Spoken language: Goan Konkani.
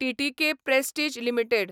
TTK prestige limited